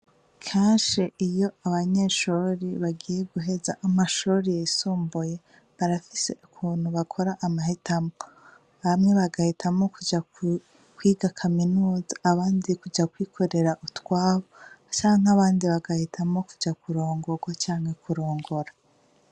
Kashe iyo abanyeshori bagiye guheza amashorori yisomboye barafise ukuntu bakora amahetamwo bamwe bagahita mo kuja kwiga kaminuza abandi kuja kwikorera utwabo canke abandi bagahita mo kuja kurongorwa canke kurongora.